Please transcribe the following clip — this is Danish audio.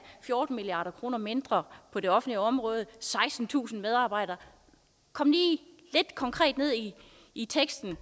fjorten milliard kroner mindre på det offentlige område og sekstentusind færre medarbejdere kom lige lidt konkret ned i i teksten og